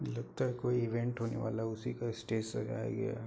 लगता है कोई ईवेंट होने वाला है उसी का स्टेज सजाया गया है।